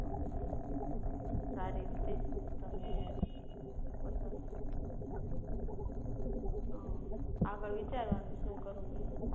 હમ સારી રીતે તમે પસંદ અમ આગળ વિચારવાનું શું કરવું ઈ